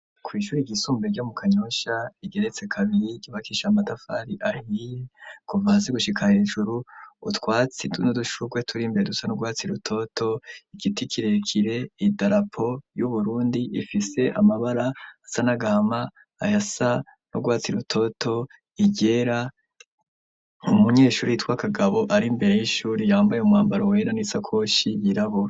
Kw'Ishure ryisumbeye ryo mu kanyosha, igeretse kabiri ryubakishije Amatafari ahiye, kuva hasi gushika hejuru, utwatsi nudushurwe turi mbere dusa n'urwatsi rutoto, Igiti kirekire, Idarapo, y'Uburundi ifise amabara asa n'agama, aya sa n'urwatsi rutoto, iryera, Umunyeshuri yitwa Kagabo ari mbere y'Ishuri, yambaye umwambaro wera n'isakoshi yirabura.